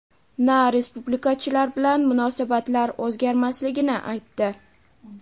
na respublikachilar bilan munosabatlar o‘zgarmasligini aytdi.